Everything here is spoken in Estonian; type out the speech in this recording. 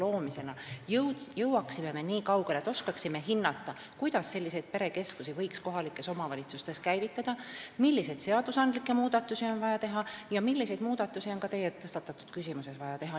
Me peame jõudma nii kaugele, et me oskaksime hinnata, kuidas võiks selliseid perekeskusi kohalikes omavalitsustes käivitada, milliseid seadusandlikke muudatusi on vaja teha ja mida on veel teie tõstatatud küsimuse valguses vaja teha.